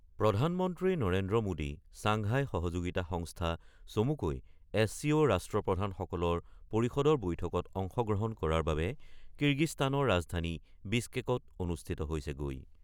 প্ৰধানমন্ত্ৰী নৰেন্দ্ৰ মোদী চাংঘাই সহযোগিতা সংস্থা চমুকৈ ৰ ৰাষ্ট্ৰপ্ৰধানসকলৰ পৰিষদৰ বৈঠকত অংশগ্ৰহণ কৰাৰ বাবে কিৰ্গিস্তানৰ ৰাজধানী বিছকেকত উপস্থিত হৈছেগৈ।